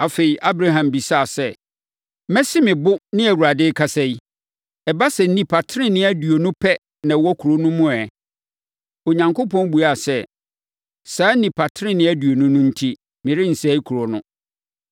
Afei, Abraham bisaa sɛ, “Masi me bo ne Awurade akasa yi, ɛba sɛ nnipa tenenee aduonu pɛ na wɔwɔ kuro no mu ɛ?” Onyankopɔn buaa sɛ, “Saa nnipa tenenee aduonu no enti, merensɛe kuro no.”